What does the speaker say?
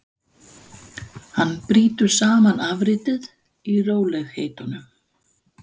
Hann brýtur saman afritið í rólegheitunum.